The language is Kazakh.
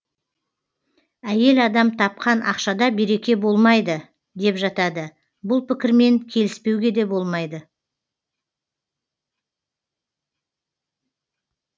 әйел адам тапқан ақшада береке болмайды деп жатады бұл пікірмен келіспеуге де болмайды